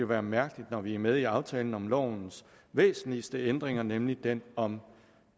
være mærkeligt når vi er med i aftalen om lovens væsentligste ændringer nemlig dem om